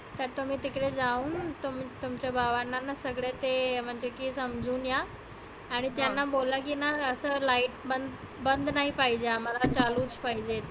तर तुम्ही तिकडे जाऊन तुम तुमच्या भावांना ना सगळ ते म्हणते की समजुन या. आणि त्यांना बोलाकी ना असं light बंद नाही पाहीजे आम्हाला चालुच पाहिजे.